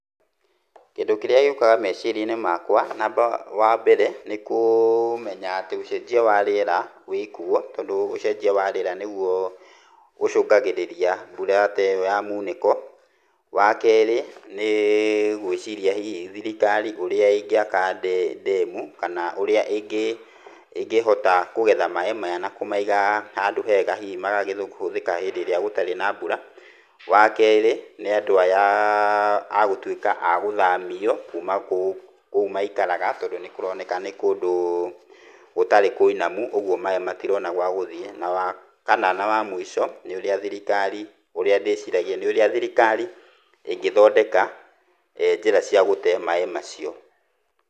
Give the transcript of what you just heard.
Kĩndũ kĩrĩra gĩũkaga meciria-inĩ makwa, wa mbere nĩ kũmenya atĩ ũcenjia wa rĩera wĩkuo tondũ ũcenjia wa rĩera nĩguo ũcũngagĩrĩria mbura ta ĩyo ya muunĩko. Wa kerĩ, nĩ gũĩciria hihi thirikari ũrĩa ĩngĩaka ndemu, kana ũrĩa ĩngĩhota kũgetha maaĩ maya na kũmaiga handũ hega, hihi magagethwo kũhũthĩka hĩndĩ ĩrĩa gũtarĩ na mbura. Wa kerĩ, nĩ andũ aya agũtuĩka a gũthamio kuuma kũu, kũu maikaraga tondũ nĩ kũroneka nĩ kũndũ gũtarĩ kũinamu, ũguo maaĩ matirona gwa gũthiĩ. Na wa kana na wa mũico, nĩ ũrĩa thirikari, ũria ndĩciragia nĩ ũrĩa thirikari ĩngĩthondeka njĩra cia gũte maaĩ macio.